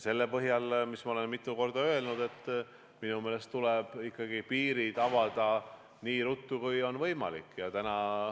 Selle põhjal, mis me oleme mitu korda öelnud, tuleb minu meelest ikkagi piirid avada nii ruttu, kui on võimalik.